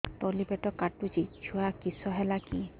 ତଳିପେଟ କାଟୁଚି ଛୁଆ କିଶ ହେଲା କି